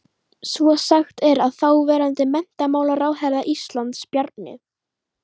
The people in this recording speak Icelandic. Svo er sagt að þáverandi menntamálaráðherra Íslands, Bjarni